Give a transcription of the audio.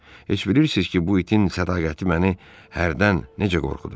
Heç bilirsiz ki, bu itin sədaqəti məni hərdən necə qorxudur?